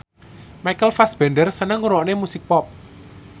Michael Fassbender seneng ngrungokne musik pop